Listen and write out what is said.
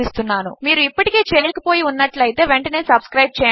మీరు ఇప్పటికే చేయక పోయి ఉన్నట్లయితే వెంటనే సబ్స్క్రైబ్ చేయండి